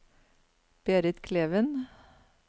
Berit Kleven